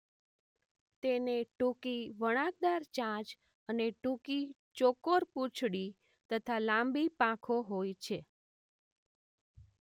તેને ટૂંકી વણાકદાર ચાંચ અને ટૂંકી ચોકોર પૂંછડી તથા લાંબી પાંખો હોય છે.